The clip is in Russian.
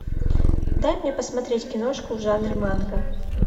дай мне посмотреть киношку в жанре манга